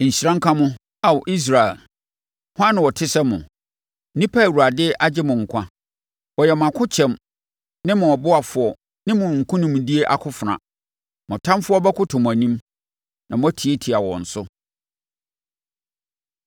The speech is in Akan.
Nhyira nka mo, Ao Israel! Hwan na ɔte sɛ mo, nnipa a Awurade agye mo nkwa. Ɔyɛ mo akokyɛm ne mo ɔboafoɔ ne mo nkonimdie akofena! Mo atamfoɔ bɛkoto mo anim, na moatiatia wɔn so.”